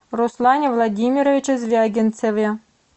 руслане владимировиче звягинцеве